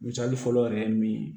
Misali fɔlɔ yɛrɛ ye min ye